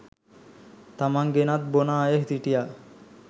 තමන් ගෙනත් බොන අය හිටියා